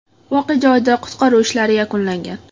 Voqea joyida qutqaruv ishlari yakunlangan.